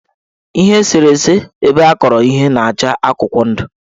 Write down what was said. Ihe eserese ebeakọrọ ihe na-acha akụkwọndụ.